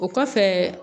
O kɔfɛ